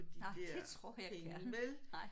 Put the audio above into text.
Nej det tror jeg gerne nej